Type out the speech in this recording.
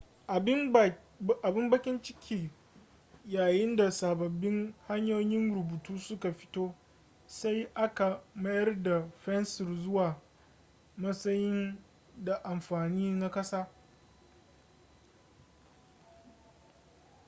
abin bakin ciki yayin da sababbin hanyoyin rubutu suka fito sai aka mayar da fensir zuwa matsayi da amfani na ƙasa